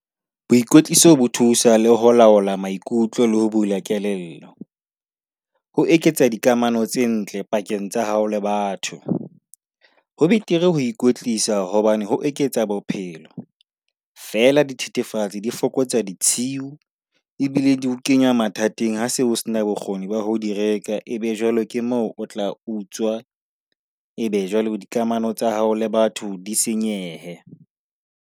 Boikotliso bo thusa le ho laola maikutlo le ho bula kelello. Ho eketsa dikamano tse ntle pakeng tsa hao le batho, ho betere ho ikwetlisa hobane ho eketsa bophelo. Feela dithethefatsi di fokotsa ditshiu ebile di o kenya mathateng ha se o se na bokgoni ba ho di reka. Ebe jwale ke moo o tla utswa, ebe jwale dikamano tsa hao le batho di senyehe.